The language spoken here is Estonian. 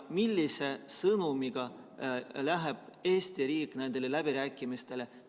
Millise sõnumiga läheb Eesti riik nendele läbirääkimistele?